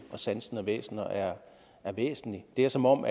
og sansende væsner er væsentlig det er som om